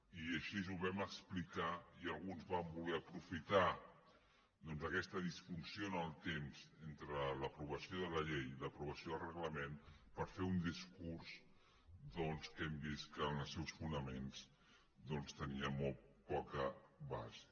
i així ho vam explicar i alguns van voler aprofitar aquesta disfunció en el temps entre l’aprovació de la llei i l’aprovació del reglament per fer un discurs que hem vist que en els seus fonaments tenia molt poca base